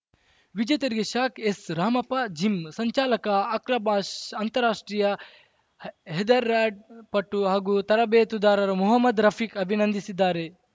ವಿಜೇತರಿಗೆ ಶಾಕ್ ಎಸ್‌ರಾಮಪ್ಪ ಜಿಮ್‌ ಸಂಚಾಲಕ ಅಕ್ರಬಾಷ್ ಅಂತಾರಾಷ್ಟ್ರೀಯ ಹೆದರ ಪಟು ಹಾಗೂ ತರಬೇತುದಾರರು ಮೊಹ್ಮದ್‌ ರಫೀಕ್‌ ಅಭಿನಂದಿಸಿದ್ದಾರೆ